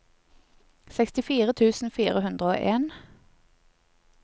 sekstifire tusen fire hundre og en